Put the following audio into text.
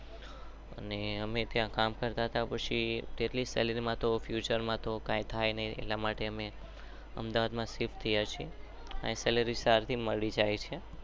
અને અમે ત્યાં કામ કરતા હતા. પછી અમે અમદાવાદ માં શિફ્ટ થયા છીએ.